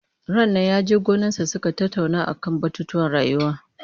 Rannan ya he gonarsa suka tattauna a man batutuwan rayuwa.